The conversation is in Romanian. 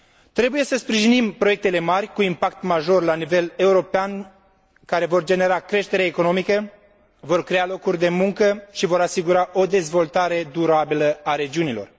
Trebuie să sprijinim proiectele mari cu impact major la nivel european, care vor genera creșterea economică, vor crea locuri de muncă și vor asigura o dezvoltare durabilă a regiunilor.